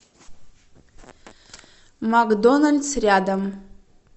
макдоналдс рядом